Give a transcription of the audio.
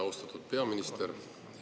Austatud peaminister!